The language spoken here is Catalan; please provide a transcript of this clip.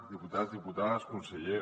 diputats diputades conseller